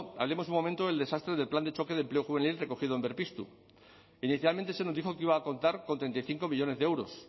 hablemos un momento del desastre del plan de choque de empleo juvenil recogido en berpiztu inicialmente se nos dijo que iba a contar con treinta y cinco millónes de euros